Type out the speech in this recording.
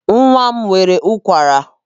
Nwa m nwere ụkwara.